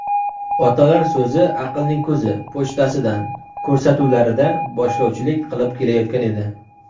"Otalar so‘zi – aqlning ko‘zi" pochtasidan" ko‘rsatuvlarida boshlovchilik qilib kelayotgan edi.